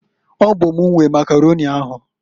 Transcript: Ọ bụ m nwe nwe Makaroni ahu.